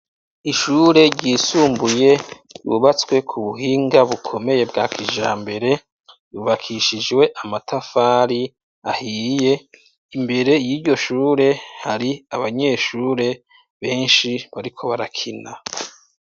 Ishure ryisumbuye, yubatswe ku buhinga bukomeye bwa kijambere, yubakishijwe Amatafari ahiye, imbere y'iryoshure, hari Abanyeshure benshi bariko barakina.